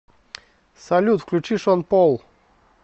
салют включи шон пол